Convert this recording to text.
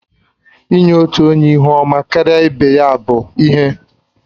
Inye otu onye ihu ọma karịa ibe ya bụ ihe n